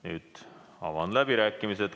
Nüüd avan läbirääkimised.